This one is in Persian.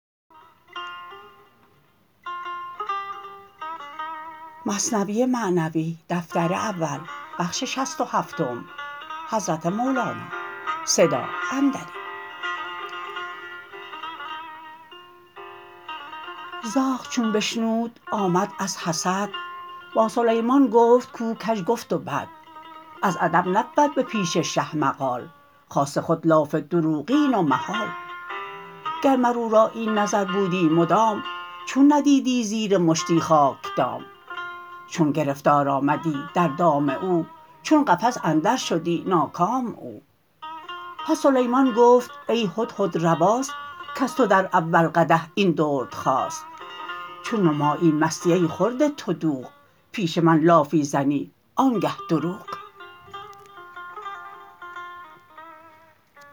زاغ چون بشنود آمد از حسد با سلیمان گفت کو کژ گفت و بد از ادب نبود به پیش شه مقال خاصه خودلاف دروغین و محال گر مر او را این نظر بودی مدام چون ندیدی زیر مشتی خاک دام چون گرفتار آمدی در دام او چون قفس اندر شدی ناکام او پس سلیمان گفت ای هدهد رواست کز تو در اول قدح این درد خاست چون نمایی مستی ای خورده تو دوغ پیش من لافی زنی آنگه دروغ